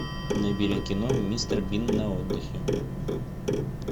набери кино мистер бин на отдыхе